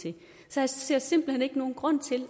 jeg synes